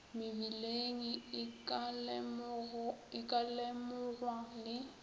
mebileng e ka lemogwa le